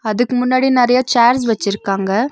அதுக்கு முன்னாடி நறைய சேர்ஸ் வெச்சிருக்காங்க.